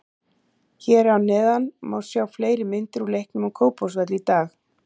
Hér að neðan má sjá fleiri myndir úr leiknum á Kópavogsvelli í dag.